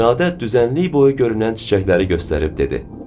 İradə düzənlik boyu görünən çiçəkləri göstərib dedi.